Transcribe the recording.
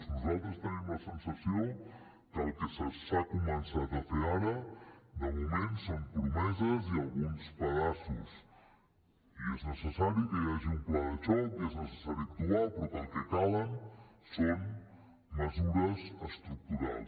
nosaltres tenim la sensació que el que s’ha començat a fer ara de moment són promeses i alguns pedaços i és necessari que hi hagi un pla de xoc i és necessari actuar però el que calen són mesures estructurals